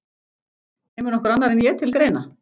Kemur nokkur annar en ég til greina?